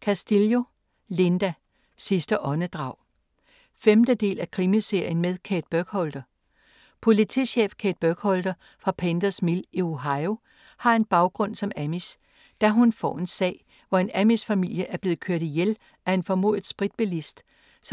Castillo, Linda: Sidste åndedrag 5. del af Krimiserien med Kate Burkholder. Politichef Kate Burkholder fra Painters Mill i Ohio har en baggrund som amish. Da hun får en sag, hvor en amishfamilie er blevet kørt ihjel af en formodet spritbilist,